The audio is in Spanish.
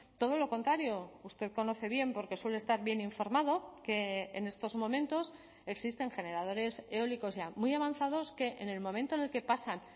todo lo contrario usted conoce bien porque suele estar bien informado que en estos momentos existen generadores eólicos ya muy avanzados que en el momento en el que pasan